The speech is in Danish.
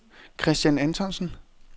Kristian Antonsen